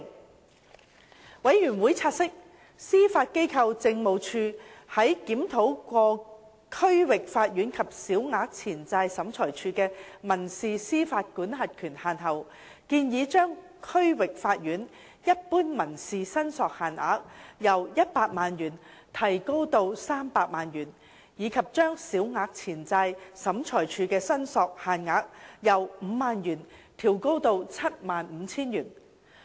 事務委員會察悉，司法機構政務處在檢討過區域法院及小額錢債審裁處的民事司法管轄權限後，建議將區域法院一般民事申索限額由100萬元提高至300萬元，以及將小額錢債審裁處的申索限額由 50,000 元調高至 75,000 元。